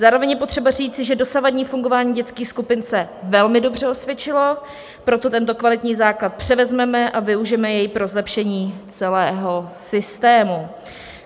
Zároveň je potřeba říct, že dosavadní fungování dětských skupin se velmi dobře osvědčilo, proto tento kvalitní základ převezmeme a využijeme jej pro zlepšení celého systému.